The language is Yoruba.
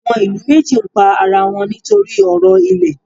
Àwọn ìlú méjì ń pa ara wọn nítorí ọ̀rọ̀ ilẹ̀.